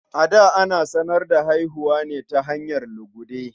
A da, ana sanar da haihuwa ne ta hanyar lugude.